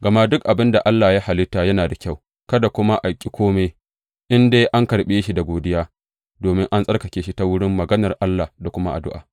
Gama duk abin da Allah ya halitta yana da kyau, kada kuma a ƙi kome in dai an karɓe shi da godiya, domin an tsarkake shi ta wurin maganar Allah da kuma addu’a.